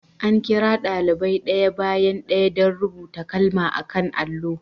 An kira daliban ɗaya bayan ɗaya don rubuta kalma a kan allo.